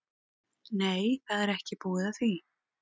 Nei, það er ekki búið að því.